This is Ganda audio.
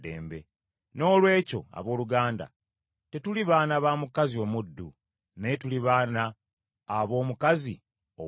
Noolwekyo abooluganda tetuli baana ba mukazi omuddu naye tuli baana ab’omukazi ow’eddembe.